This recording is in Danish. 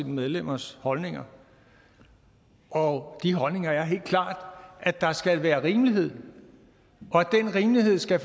medlemmers holdninger og de holdninger er helt klart at der skal være rimelighed og at den rimelighed skal